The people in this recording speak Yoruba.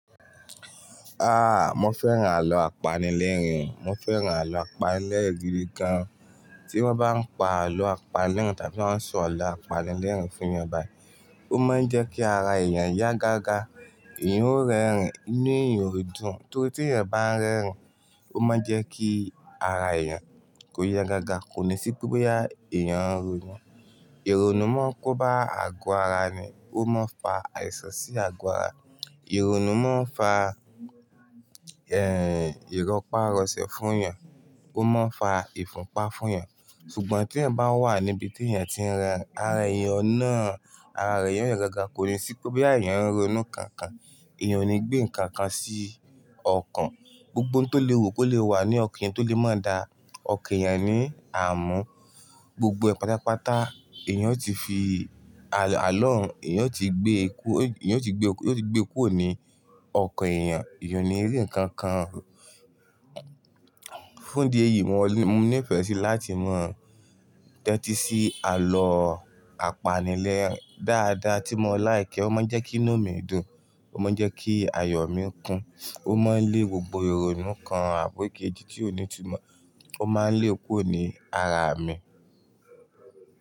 Ah! Mo fẹ́ràn àlọ́ àpanilẹ́rìn-ín, mo fẹ́ràn àlọ́ àpanilẹ́rìn-ín gidi gan. Tí wọ́n bá ń pa àlọ́ apanilẹ́rìn tàbí wọ́n ń sọ àlọ́ apanilẹ́rìn fún yan báyìí, ó máa ń jẹ́ kí ara èèyàn yá gágá, ẹ̀yan ó rẹ́rìn inú èèyàn yóò dùn, torí tí ẹ̀yan bá ń rẹ́rìn ó máa ń jẹ́ kí ara èèyàn kó yá gágá, kò ní sí pé bí èèyàn ń ronú. Ìrònú máa ń kóbá àgọ́ ara ni, ó máa ń fa àìsàn sí àgọ́ ara, ìrònú máa ń fa, ẹ́ n, ìrọ́pá rọsẹ̀ fún yẹn, ó máa ń fa ìfúnpá fún yan. Ṣùgbọ́n tí ẹ̀yan bá wà níbi tí ẹ̀yin ti ń rẹ ara èèyàn náà, ara èèyàn yóò yá gágá kò ní sí pé bí èèyàn ń ronú kankan, èèyàn ò ní gbé nǹkan kan sí ọkàn. Gbogbo ohun tó lè wù kó lè wà ní ọkàn èèyàn tó lè máa da ọkàn èèyàn ní àmúú, gbogbo pátápátá èèyàn ó ti fi àlọ́ òun, èèyàn ó ti gbé eku-- èèyàn ó ti gbé, ó ti gbé ikú òní ọkàn èèyàn, èèyàn ò ní rí ǹkan kan. Fún ìdí èyí, mo ní ìfẹ́ sí láti mọ̀ dẹ́tí sí àlọ́ àpanilẹ́rìn dáadáa tí mo láì kẹ́, ó máa ń jẹ́ kí inú mi dùn, ó máa ń jẹ́ kí ayọ̀ mi kún, ó máa ń lé gbogbo ìrònú kan àbọ́ kejì tí ó ní túbọ̀, ó máa ń lé kúro ní ara mi.